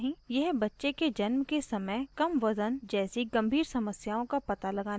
यह बच्चे के जन्म के समय कम वजन जैसी गंभीर समस्यायों का पता लगाने में मदद करती है